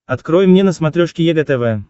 открой мне на смотрешке егэ тв